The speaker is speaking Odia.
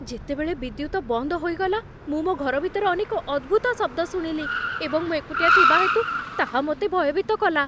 ଯେତେବେଳେ ବିଦ୍ୟୁତ ବନ୍ଦ ହୋଇଗଲା, ମୁଁ ମୋ ଘର ଭିତରେ ଅନେକ ଅଦ୍ଭୁତ ଶବ୍ଦ ଶୁଣିଲି ଏବଂ ମୁଁ ଏକୁଟିଆ ଥିବା ହେତୁ ତାହା ମୋତେ ଭୟଭୀତ କଲା।